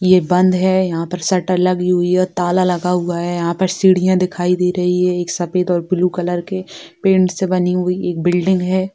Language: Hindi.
ये बंद है यहाँ पर शटर लागी हुई है ताला लगा हुआ है यहाँ पर सीढ़ियाँ दिखाई दे रहा रही है एक सफेद और ब्लू कलर के पेंट से बनी हुई एक बिल्डिंग है।